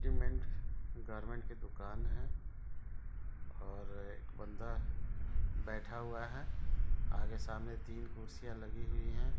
Garment की दुकान है और एक बंदा बैठा हुवा है आगे सामने कुर्सियां लगी हुई है।